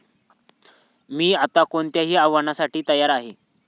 मी आता कोणत्याही आव्हानासाठी तयार आहे.